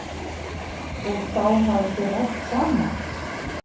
Og þá hafið þið rætt saman?